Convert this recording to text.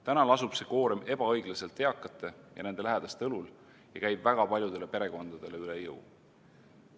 Täna lasub see koorem ebaõiglaselt eakate ja nende lähedaste õlul ning käib väga paljudele perekondadele üle jõu.